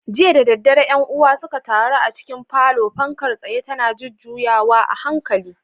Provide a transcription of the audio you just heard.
Jiya da daddare ƴan uwa suka taru a cikin falon, fankar tsayen tana juyawa a hankali.